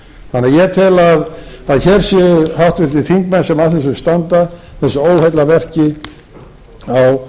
þannig að ég tel að hér séu háttvirtir þingmenn sem að þessu standa þessu óheillaverki á